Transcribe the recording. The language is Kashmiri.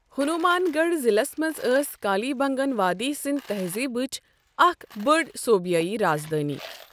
ہنومان گڑھ ضلعس منٛز ٲس کالی بنگن وادی سندھ تہذیبٕچ اکھ بٔڑ صُوبٲیی رازدٲنۍ۔